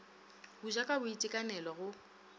go ja ka boitekanelo go